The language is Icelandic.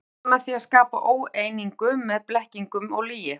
Hann gerir þetta með því að skapa óeiningu með blekkingum og lygi.